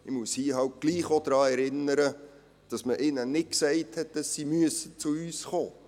Ich muss hier gleichwohl auch daran erinnern, dass man ihnen nicht gesagt hat, sie müssten zu uns kommen.